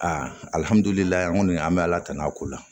Aa alihamudulilayi an ŋɔni an be ala tanu a ko la